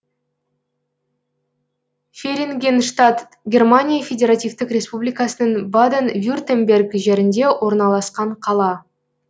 ферингенштадт германия федеративтік республикасының баден вюртемберг жерінде орналасқан қала